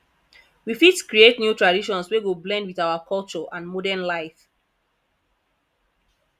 we fit create new traditions wey go blend with our culture and modern life